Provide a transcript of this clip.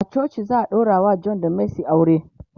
a coci za'a daurawa John da mercy aure.